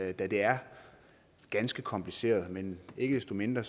det da det er ganske kompliceret men ikke desto mindre